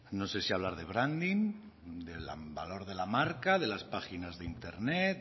no sé si hablar de branding del valor de la marca de las páginas de internet